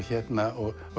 og